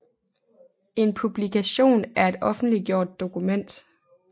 En publikation er et offentliggjort dokument